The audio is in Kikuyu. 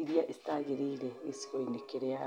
iria citaagĩrĩire gĩcigo-inĩ kĩrĩa arĩ.